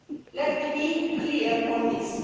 Let me be clear on this.